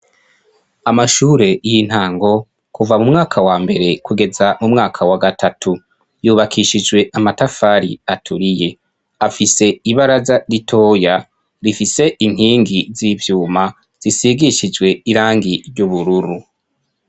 Amashure iyi ntango kuva mu mwaka wa mbere kugeza mu mwaka wa gatatu yubakishijwe amatafari aturiye afise ibaraza ritoya rifise inkingi z'ivyuma zisigishijwe irangi ry'ubururu.